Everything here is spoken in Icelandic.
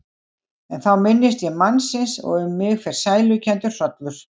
En þá minnist ég mannsins og um mig fer sælukenndur hrollur.